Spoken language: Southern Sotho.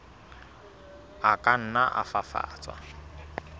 a ka nna a fafatswa